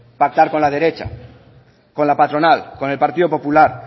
pactar con la derecha con la patronal con el partido popular